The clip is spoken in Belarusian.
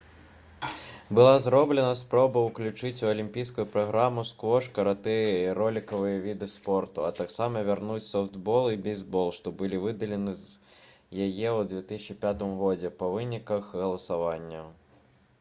была зроблена спроба ўключыць у алімпійскую праграму сквош каратэ і ролікавыя віды спорту а таксама вярнуць софтбол і бейсбол што былі выдалены з яе ў 2005 годзе па выніках галасавання